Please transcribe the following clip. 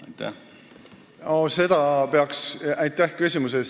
Aitäh küsimuse eest!